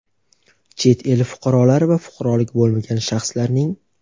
chet el fuqarolari va fuqaroligi bo‘lmagan shaxslarning;.